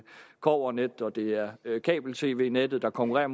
kobbernet det er kabel tv net der konkurrerer